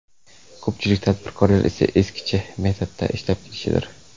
Ko‘pchilik tadbirkorlar esa eskicha metodda ishlab kelishidir.